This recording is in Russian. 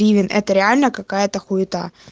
ивин это реально какая-то хуета